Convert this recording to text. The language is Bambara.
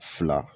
Fila